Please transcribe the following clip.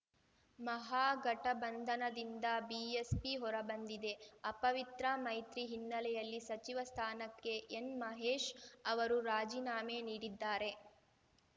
ಮಹಾಗಠಬಂಧನದಿಂದ BSP ಹೊರಬಂದಿದೆ ಅಪವಿತ್ರ ಮೈತ್ರಿ ಹಿನ್ನೆಲೆಯಲ್ಲಿ ಸಚಿವ ಸ್ಥಾನಕ್ಕೆ ಎನ್‌ಮಹೇಶ್‌ ಅವರು ರಾಜೀನಾಮೆ ನೀಡಿದ್ದಾರೆ